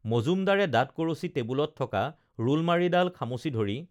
মজুমদাৰে দাতঁ কৰচি টেবুলত থকা ৰুলমাৰিডাল খামুচি ধৰি